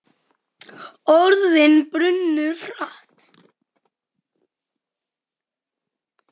Orðin brunnu hratt.